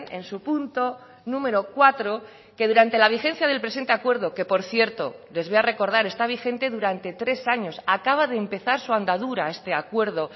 en su punto número cuatro que durante la vigencia del presente acuerdo que por cierto les voy a recordar está vigente durante tres años acaba de empezar su andadura este acuerdo